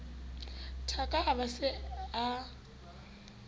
thaka a be a se